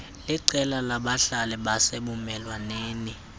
liqela labahlali basebumelwaneni